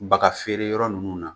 Bagafeereyɔrɔ ninnu na